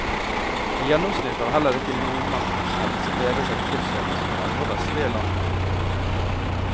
I gjennomsnitt har heller ikke nordmennenes helse bedret seg tilsvarende som i andre vestlige land. punktum